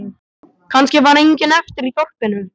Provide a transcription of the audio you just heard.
Kannski var enginn eftir í þorpinu.